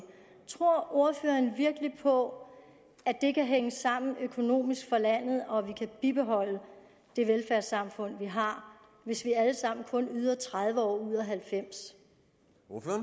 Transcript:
tror ordføreren virkelig på at det kan hænge sammen økonomisk for landet og at vi kan bibeholde det velfærdssamfund vi har hvis vi alle sammen kun yder noget i tredive år ud af halvfems